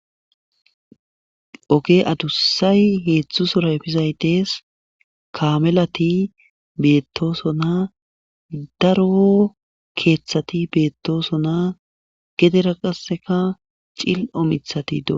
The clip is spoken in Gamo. oge adussay heedzdzu sorayfizaydees kamelati beettosona daro keeththati beettosona gedera qasseka cil7omithati doo